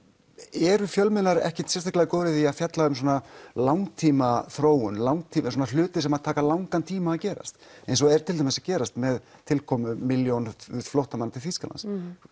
eru fjölmiðlar ekkert sérstaklega góðir í því að fjalla um svona langtímaþróun langtímaþróun hluti sem taka langan tíma að gerast eins og er til dæmis að gerast með tilkomu milljón flóttamanna til Þýskalands